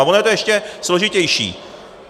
A ono je to ještě složitější.